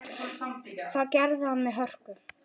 Það gerði hann með hörku.